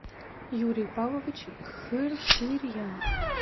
юрий павлович хырхырьян